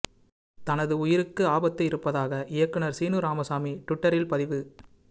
தனது உயிருக்கு ஆபத்து இருப்பதாக இயக்குநர் சீனு ராமசாமி ட்விட்டரில் பதிவு